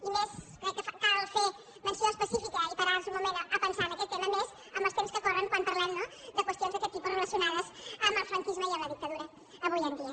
i crec que cal fer ne menció específica i parar se un moment a pensar en aquest tema a més amb els temps que corren quan parlem no de qüestions d’aquest tipus relacionades amb el franquisme i amb la dictadura avui en dia